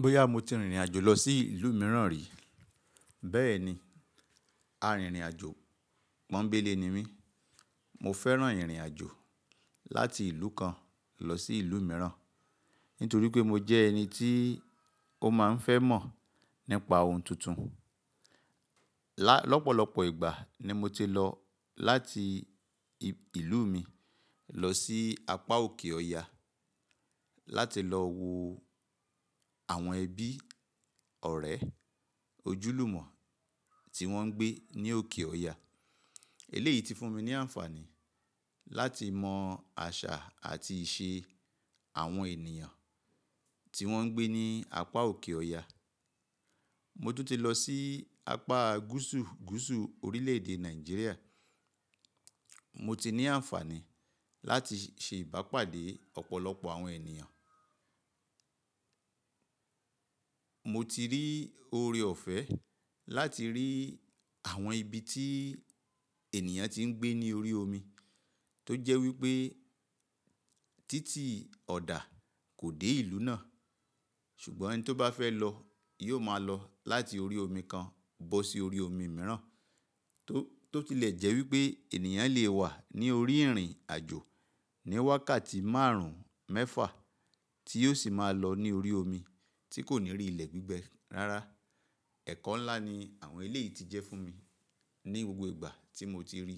Bóyá mo ti rìnrìn àjò lọ sí ìlú mìíràn rí? Bẹ́ẹ̀ni, arìnrìn àjò pọ́nńbélé ni mí. Mo fẹ́ràn ìrìn àjò láti ìlú kan lọ sí ìlú mìíràn, nítorí pé mo jẹ́ ẹni tí ó máa ń fẹ́ mọ̀ nípa ohun tuntun. Lá-lọ́pọ̀lọpọ̀ ìgbà ni mo ti lọ láti ìlú mi lọ sí apá òkè ọya láti lọ wo àwọn ẹbí, ọ̀rẹ́, ojúlùmọ̀ tí wọ́n ń gbé ní òkè ọya. Eléyìí ti fún mi ní àǹfààní láti mọ àṣà àti ìṣe àwọn ènìyàn tí wọ́n ń gbé ní apá òkè ọya. Mo tún ti lọ sí apá gúsu gúsu orílẹ̀ èdè Nàìjíríà. Mo ti ní àǹfààní láti ṣe ìbápàdé ọ̀pọ̀lọpọ̀ àwọn ènìyàn. Mo ti rí oore ọ̀fẹ́ láti rí àwọn ibi tí ènìyàn ti ń gbé ní orí omi, tó jẹ́ wí pé títì ọ̀dà kò dé ìlú náà, ṣùgbọ́n ẹni tó bá fẹ́ lọ yóò máa lọ láti orí omi kan bọ́ sí orí omi mìíràn, tó ti lè jẹ́ wí pé ènìyàn le wà ní orí ìrìn àjò ní wákàtí márùn, mẹ́fà tí yóò sì máa lọ ní orí omi tí kò ní rí ilẹ̀ gbígbẹ rara e. Ẹ̀kọ́ ńlá ni àwọn eléyìí ti jẹ́ fún mi ní gbogbo ìgbà tí mo ti rí.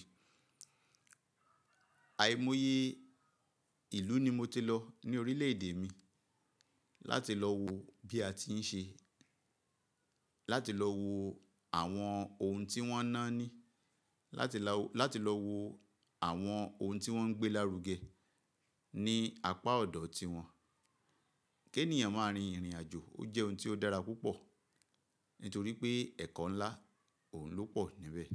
Àìmọye ìlú ni mo ti lọ ní orílẹ̀ èdè mi láti lọ wo bí a ti ń ṣe, láti lọ wo àwọn ohun tí wọ́n náání, láti lọ wo àwọn ohun tí wọ́n ń gbé lárugẹ ní apá ọ̀dọ̀ tí wọ́n. Kí ènìyàn máa rin ìrìn àjò ó jẹ́ ohun tí ó dára púpọ̀ nítorí pé ẹ̀kọ́ ńlá òun lọ́pọ̀ níbẹ̀.